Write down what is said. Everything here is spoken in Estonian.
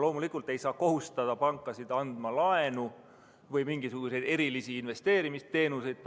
Loomulikult ei saa kohustada pankasid andma laenu või pakkuma mingisuguseid erilisi investeerimisteenuseid.